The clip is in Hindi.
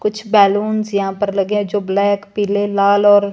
कुछ बैलूंस यहां पर लगे हैं जो ब्लैक पीले लाल और--